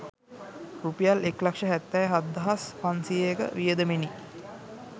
රුපියල් එක් ලක්ෂ හැත්තෑ හත්දහස් පන්සියයක වියදමෙනි.